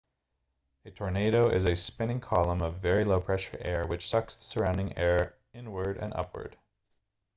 a tornado is a spinning column of very low-pressure air which sucks the surrounding air inward and upward